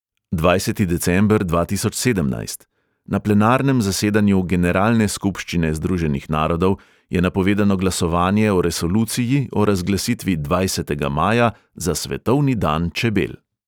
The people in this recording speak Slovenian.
Dvajseti december dva tisoč sedemnajst – na plenarnem zasedanju generalne skupščine združenih narodov je napovedano glasovanje o resoluciji o razglasitvi dvajsetega maja za svetovni dan čebel.